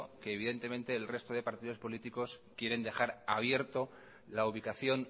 que el resto de partidos políticos quieren dejar abierto la ubicación